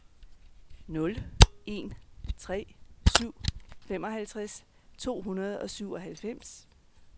nul en tre syv femoghalvtreds to hundrede og syvoghalvfems